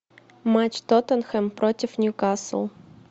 матч тоттенхэм против ньюкасл